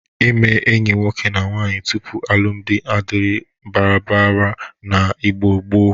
Ime enyi nwoke na nwaanyị tupu alụmdị adịrịghị baradabara n'Igbo gboo.